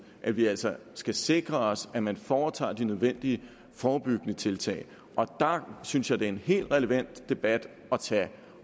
at vi altså skal sikre os at man foretager de nødvendige forebyggende tiltag der synes jeg det er en helt relevant debat at tage